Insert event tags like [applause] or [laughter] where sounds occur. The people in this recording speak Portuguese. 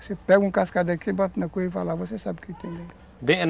Você pega um cascalho daqui, bota na cunha e vai lá, você sabe o que tem [unintelligible]